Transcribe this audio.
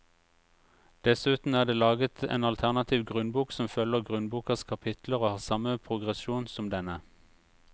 Dessuten er det laget en alternativ grunnbok som følger grunnbokas kapitler og har samme progresjon som denne.